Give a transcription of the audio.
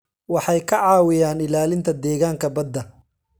Waxay ka caawiyaan ilaalinta deegaanka badda.